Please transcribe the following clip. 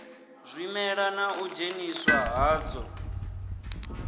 zwimela na u dzheniswa hadzwo